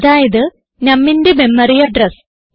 അതായത് numന്റെ memory address